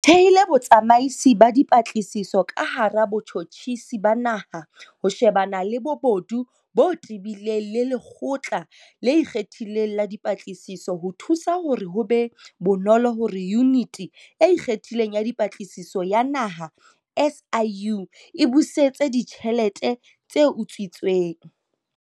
Re thehile Botsamaisi ba Dipatlisiso ka hara Botjhotjhisi ba Naha ho shebana le bobodu bo tebileng le Lekgotla le Ikgethileng la Dipatlisiso ho thusa hore ho be bonolo hore Yuniti e Ikgethileng ya Dipatlisiso ya Naha SIU, e busetse ditjhelete tse utswitsweng.